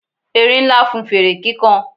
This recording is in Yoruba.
erin Nla fún fere kikan